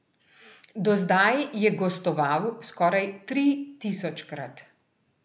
Do zdaj je gostoval skoraj tri tisočkrat.